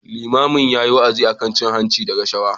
Limamin yayi wa'azi akan cin hanci da rashawa.